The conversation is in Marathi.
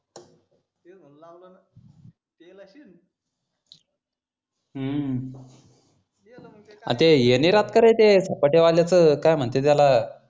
हे हे नि राहत का रे झपाट्या वाल काय म्हनतेंत त्याला